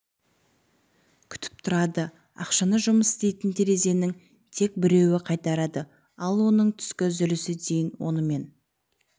күтіп тұрады ақшаны жұмыс істейтін терезенің тек біреуі қайтарады ал оның түскі үзілісі дейін онымен